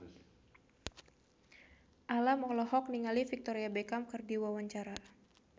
Alam olohok ningali Victoria Beckham keur diwawancara